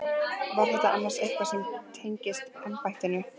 Var þetta annars eitthvað sem tengist embættinu?